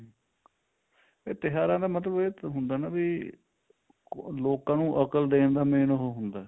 ਇਹ ਤਿਉਹਾਰਾਂ ਦਾ ਮਤਲਬ ਇਹ ਨਾ ਵੀ ਲੋਕਾਂ ਨੂੰ ਅਕਲ ਦੇਣ ਦਾ main ਉਹ ਹੁੰਦਾ